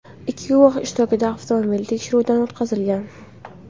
Ikki guvoh ishtirokida avtomobil tekshiruvdan o‘tkazilgan.